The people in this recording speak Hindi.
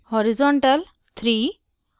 horizontal – 3